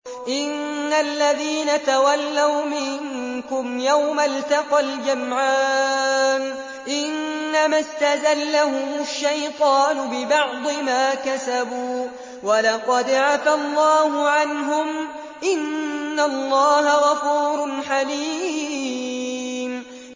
إِنَّ الَّذِينَ تَوَلَّوْا مِنكُمْ يَوْمَ الْتَقَى الْجَمْعَانِ إِنَّمَا اسْتَزَلَّهُمُ الشَّيْطَانُ بِبَعْضِ مَا كَسَبُوا ۖ وَلَقَدْ عَفَا اللَّهُ عَنْهُمْ ۗ إِنَّ اللَّهَ غَفُورٌ حَلِيمٌ